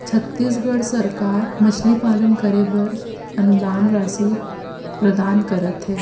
छत्तीसगढ़ सरकार मछली पालन करे बर अनुदान राशि प्रदान करथे।